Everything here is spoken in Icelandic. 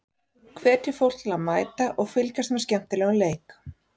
Hvetjum fólk til að mæta og fylgjast með skemmtilegum leik.